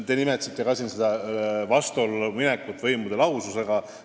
Te nimetasite vastuollu minekut võimude lahususe põhimõttega.